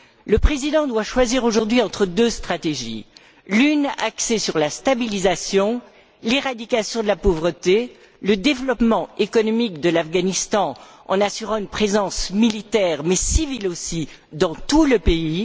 Le président doit choisir aujourd'hui entre deux stratégies l'une est axée sur la stabilisation, l'éradication de la pauvreté, le développement économique de l'Afghanistan en assurant une présence militaire, mais civile aussi, dans tout le pays.